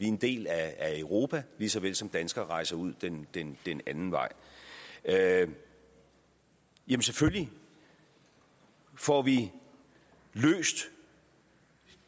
en del af europa lige så vel som danskere rejser ud den den anden vej jamen selvfølgelig får vi løst